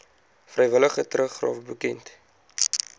vrywillige teruggawe bekend